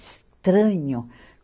Estranho.